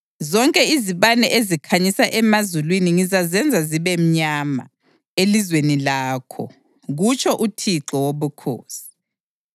Zonke izibane ezikhanyisa emazulwini ngizazenza zibe mnyama elizweni lakho, kutsho uThixo Wobukhosi.